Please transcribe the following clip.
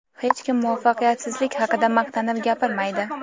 Hech kim muvaffaqiyatsizlik haqida maqtanib gapirmaydi.